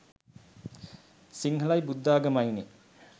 සිංහලයි බුද්ධාගමයිනේ.